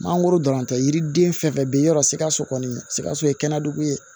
Mangoro dɔrɔn tɛ yiriden fɛn fɛn bɛ yen yɔrɔ sikaso kɔni sikaso ye kɛnɛdugu ye